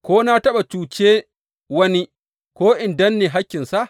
Ko na taɓa cuce wani, ko in danne hakkinsa?